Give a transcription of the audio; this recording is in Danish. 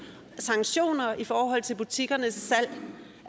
sanktioner i forhold til butikkernes salg